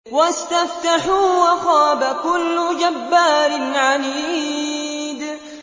وَاسْتَفْتَحُوا وَخَابَ كُلُّ جَبَّارٍ عَنِيدٍ